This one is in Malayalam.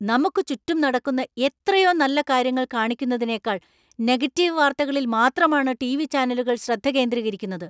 നമുക്ക് ചുറ്റും നടക്കുന്ന എത്രയോ നല്ല കാര്യങ്ങൾ കാണിക്കുന്നതിനേക്കാൾ നെഗറ്റീവ് വാർത്തകളിൽ മാത്രമാണ് ടിവി ചാനലുകൾ ശ്രദ്ധ കേന്ദ്രീകരിക്കുന്നത് .